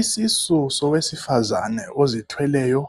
Isisu sowesifazena ozithweleyo